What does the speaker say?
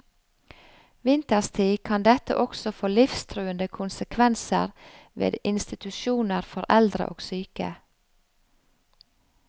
Vinterstid kan dette også få livstruende konsekvenser ved institusjoner for eldre og syke.